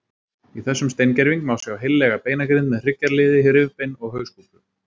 Í þessum steingerving má sjá heillega beinagrind með hryggjarliði, rifbein og hauskúpu.